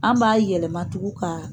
An b'a yɛlɛma tugu ka